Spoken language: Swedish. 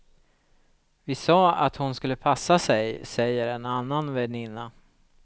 Vi sa att hon skulle passa sig, säger en annan väninna.